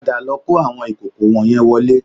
Padà lọ kó àwọn ìkòkò wọ̀nyẹn wọlé